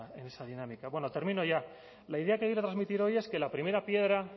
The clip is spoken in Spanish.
en esa dinámica termino ya la idea que quiero transmitir hoy es que la primera piedra